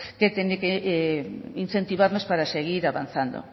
que tiene que incentivarnos para seguir avanzando